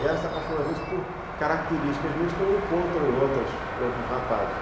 E elas se apaixonam, às vezes, por características minhas que eu não encontro em outros outros rapazes.